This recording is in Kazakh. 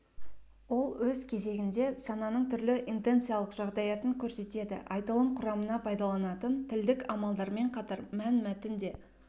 ол өз кезегінде сананың түрлі интенциялық жағдаятын көрсетеді айтылым құрамына пайданылатын тілдік амалдармен қатар мәнмәтін те